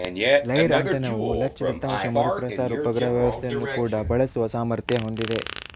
ಲೈರ ಆಂಟೆನವು ಲಚ್ ದತ್ತಾಂಶ ಮರುಪ್ರಸಾರ ಉಪಗ್ರಹ ವ್ಯವಸ್ಥೆಯನ್ನು ಕೂಡ ಬಳಸುವ ಸಾಮರ್ಥ್ಯ ಹೊಂದಿದೆ